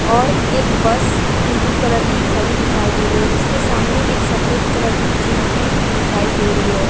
और एक बस पीली कलर की खड़ी दिखाई दे रही है। उसके सामने एक सफ़ेद कलर की जीप भी दिखाई दे रही है।